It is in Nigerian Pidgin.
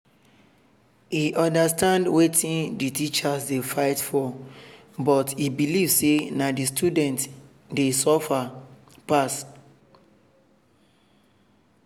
e understand wetin the teachers dey fight for but e believe say na the students dey dey suffer pass.